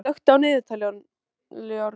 Rúrí, slökktu á niðurteljaranum.